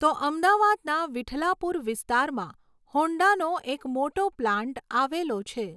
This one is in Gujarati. તો અમદાવાદના વિઠલાપુર વિસ્તારમાં હૉન્ડાનો એક મોટો પ્લાન્ટ આવેલો છે